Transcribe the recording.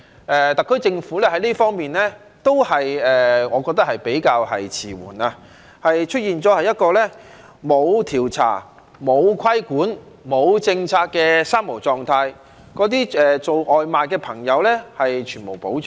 我覺得特區政府在這方面都是比較遲緩，出現了一個沒有調查、沒有規管、沒有政策的"三無"狀態，對那些送外賣的朋友全無保障。